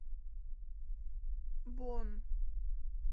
бонн